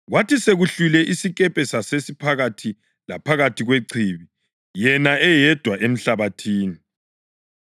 Kwathi sekuhlwile isikepe sasiphakathi laphakathi kwechibi, yena eyedwa emhlabathini.